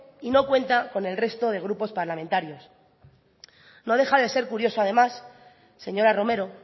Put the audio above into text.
y no cuenta con el resto de grupos parlamentarios no deja de ser curioso además señora romero